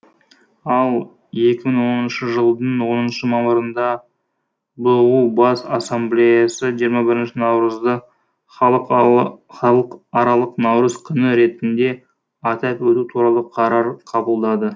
ал екі мың оныншы жылдың оныншы мамырында бұұ бас ассамблеясы жиырма бірінші наурызды халықаралық наурыз күні ретінде атап өту туралы қарар қабылдады